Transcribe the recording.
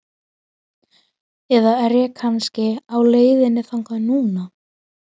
Eða er ég kannski á leiðinni þangað núna?